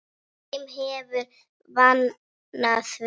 Þeim hefur vegnað vel.